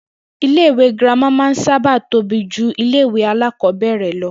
Ilé ìwé girama sábà máa ń tóbi ju ilé ìwé alákò̩ó̩bè̩rè̩ lo̩